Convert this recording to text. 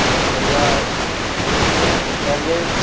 बहुत बढ़िया वो देती हैं एवरेज --